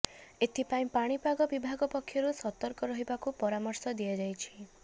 ଏଥିପାଇଁ ପାଣିପାଗ ବିଭାଗ ପକ୍ଷରୁ ସତର୍କ ରହିବାକୁ ପରାମର୍ଶ ଦିଆଯାଇଛି